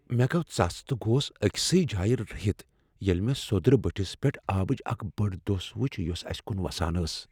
مےٚ گوٚو ژس تہٕ گوس أکۍسٕے جایہ رٔہِتھ ییٚلہ مےٚ سوٚدرٕ بٔٹھس پیٹھ آبٕچ اکھ بٔڑ دۄس وٕچھ یۄس اسہ کُن وسان ٲس۔